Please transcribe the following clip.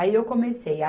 Aí eu comecei.